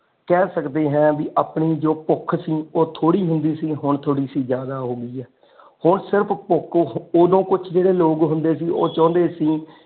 ਕਹਿ ਸਕਦੇ ਹੈ ਵੀ ਆਪਣੀ ਜੋ ਭੁੱਖ ਸੀ ਉਹ ਥੋੜੀ ਹੁੰਦੀ ਸੀ ਹੁਣ ਥੋੜੀ ਸੀ ਜ਼ਿਆਦਾ ਹੋ ਗਈ ਹੈ ਹੁਣ ਸਿਰਫ ਭੁੱਖ ਉਹਦੋਂ ਕੁੱਛ ਜੇੜੇ ਲੋਕ ਹੁੰਦੇ ਸੀ ਉਹ ਚਾਹੁੰਦੇ ਸੀ।